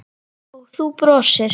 Og þú brosir.